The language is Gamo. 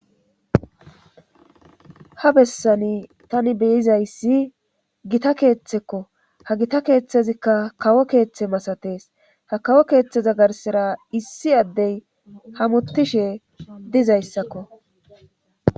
ha bessani tani beyizayssi gita keeththekko ha gita keeththezikka kawo keeththe masatees ha kawo keeththeza garsira issi addey hamuttishe dizayssakko